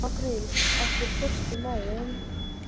Apríl, ekki fórstu með þeim?